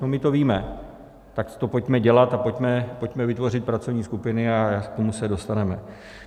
No my to víme, tak to pojďme dělat a pojďme vytvořit pracovní skupiny a k tomu se dostaneme.